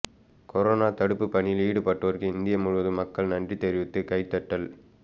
corona தடுப்பு பணியில் ஈடுபட்டோருக்கு இந்தியா முழுவதும் மக்கள் நன்றி தெரிவித்து கைதட்டல்